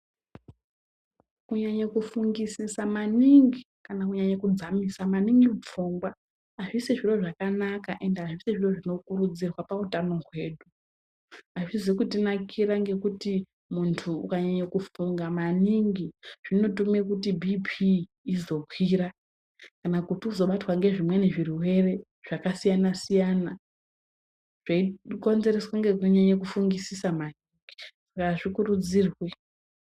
Kunyanya kufungisisa maningi kana kunyanya kudzamisisa maningi pfungwa hazvisi zviro zvakanaka ende hazvisizvo zvinokurudzirwa pautano hwedu, hazvizi kutinakira ngekuti muntu ukanyanye kufunga maningi zvinotume kuti BP izokwira kana kuti uzobatwa nezvimweni zvirwere zvakasiyana-siyana peikonzereswe nekunyanye kufungisise maningi saka hazvikuridzirwe.